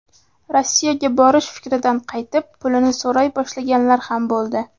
Rossiyaga borish fikridan qaytib, pulini so‘ray boshlaganlar ham bo‘ldi.